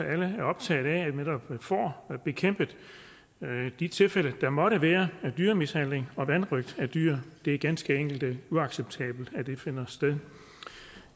alle er optaget af at vi netop får bekæmpet de tilfælde der måtte være af dyremishandling og vanrøgt af dyr det er ganske enkelt uacceptabelt at det finder sted